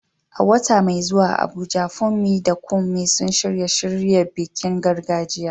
A wata mai zuwa a Abuja, Funmi da Kunmi sun shirya shirya bikin gargajiya.